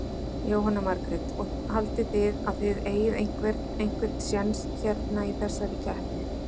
Jóhanna Margrét: Og haldið þið að þið eigið einhvern, einhvern séns hérna í þessari keppni?